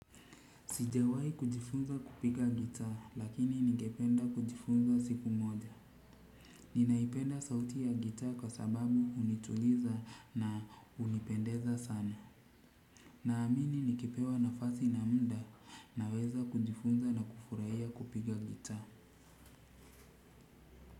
Sijawahi kujifunza kupiga gitaa lakini ningependa kujifunza siku moja. Ninaipenda sauti ya gitaa kwa sababu hunituliza na hunipendeza sana. Naamini nikipewa nafasi na muda naweza kujifunza na kufurahia kupiga gitaa.